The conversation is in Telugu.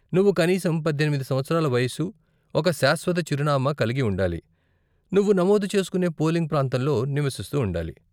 నువ్వు కనీసం పద్దెనిమిది సంవత్సరాల వయసు, ఒక శాశ్వత చిరునామా కలిగి ఉండాలి, నువ్వు నమోదు చేస్కునే పోలింగ్ ప్రాంతంలో నివసిస్తూ ఉండాలి.